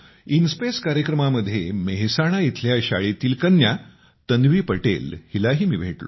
in space कार्यक्रमामध्ये मेहसाणा इथल्या शाळेतली कन्या तन्वी पटेल हिलाही मी भेटलो